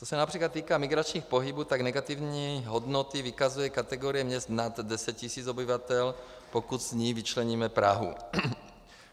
Co se například týká migračních pohybů, tak negativní hodnoty vykazuje kategorie měst nad 10 tisíc obyvatel, pokud z ní vyčleníme Prahu.